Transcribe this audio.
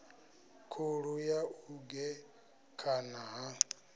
khulu ya u gekhana ha